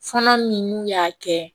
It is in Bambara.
Fɔlɔ min n'u y'a kɛ